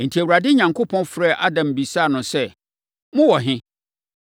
Enti, Awurade Onyankopɔn frɛɛ Adam bisaa no sɛ, “Mowɔ he?”